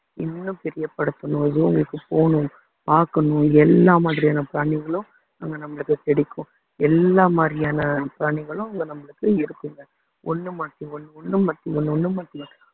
இன்னும் பெரியப்படுத்தணும் போகணும் பாக்கணும் எல்லா மாதிரியான பிராணிங்களும் அங்க நம்மளுக்கு கிடைக்கும் எல்லா மாதிரியான பிராணிகளும் அங்க நம்மளுக்கு இருக்குங்க ஒண்ணு மாத்தி ஒண்ணு ஒண்ணு மாத்தி ஒண்ணு ஒண்ணு மாத்தி ஒண்ணு